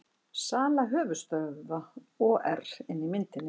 Sala höfuðstöðva OR inni í myndinni